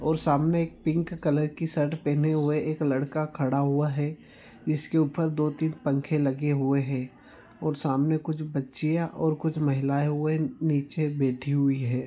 और सामने एक पिंक कलर की शर्ट पहने हुए एक लड़का खड़ा हुआ है जिसके ऊपर दो तीन पंखे लगे हुए है और सामने कुछ बच्चिया और कुछ महिलाएँ हुए नीचे बैठी हुई है।